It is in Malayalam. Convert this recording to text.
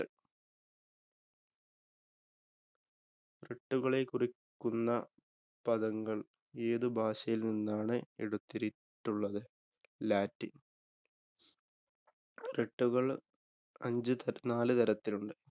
writ കളെ കുറിക്കുന്ന പദങ്ങള്‍ ഏതു ഭാഷയില്‍ നിന്നാണ് എടുത്തിരി~ക്കുന്നത്? Latin. writ കള്‍ അഞ്ചു നാലു തരത്തില്‍ ഉണ്ട്.